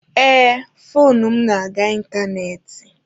Ee, foonu m na-aga ịntanetị.